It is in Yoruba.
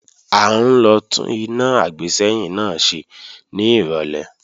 À ń lọ tún iná àgbésẹ́yìn náà ṣe ní ìrọ̀lẹ́